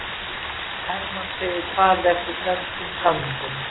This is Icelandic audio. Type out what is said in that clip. Hermann segir farið eftir dönskum samningum